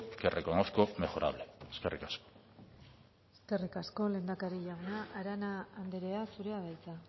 que reconozco mejorable eskerrik asko eskerrik asko lehendakari jauna arana andrea zurea da hitza